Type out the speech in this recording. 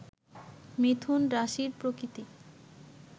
মিথুন রাশির প্রকৃতি